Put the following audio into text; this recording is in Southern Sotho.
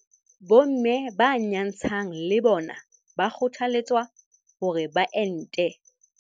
Bomme ba nyantshang le bona ba kgothaletswa hore ba ente.